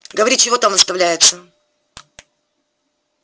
говори чего там выставляется